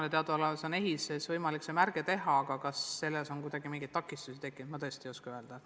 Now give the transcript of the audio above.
Minu teada on EHIS-es võimalik see märge teha ja kas selleks on mingeid takistusi tekkinud, ma tõesti ei oska öelda.